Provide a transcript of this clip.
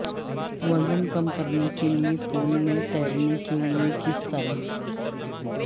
وزن کم کرنے کے لئے پول میں تیرنے کے لئے کس طرح